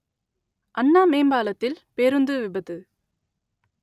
அண்ணா மேம்பாலத்தில் பேருந்து விபத்து